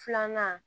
Filanan